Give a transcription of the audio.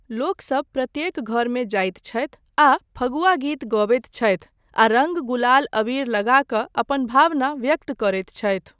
लोकसब प्रत्येक घरमे जाइत छथि आ फगुआ गीत गबैत छथि आ रङ्ग गुलाल अबीर लगा कऽ अपन भावना व्यक्त करैत छथि।